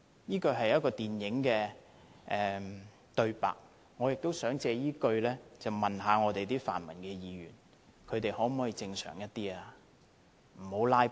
"這是一齣電影的對白，我亦想用這句話問問我們的泛民議員，他們可否正常一點，不要"拉布"？